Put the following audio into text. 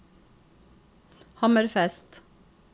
Hammerfest